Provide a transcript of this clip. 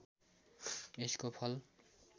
यसको फल